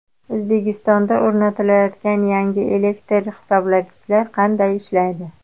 O‘zbekistonda o‘rnatilayotgan yangi elektr hisoblagichlar qanday ishlaydi?